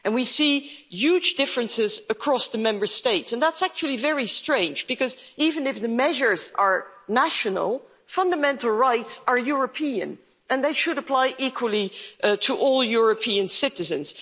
We see huge differences across the Member States and that's actually very strange because, even if the measures are national, fundamental rights are European and they should apply equally to all European citizens.